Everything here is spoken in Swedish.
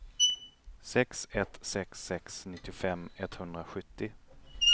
sex ett sex sex nittiofem etthundrasjuttio